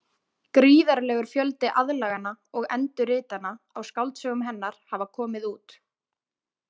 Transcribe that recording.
Gríðarlegur fjöldi aðlagana og endurritana á skáldsögum hennar hafa komið út.